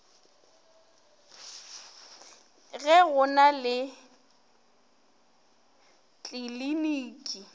ge go na le tliliniki